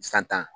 San tan